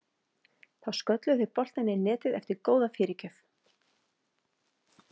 Þá skölluðu þeir boltann í netið eftir góða fyrirgjöf.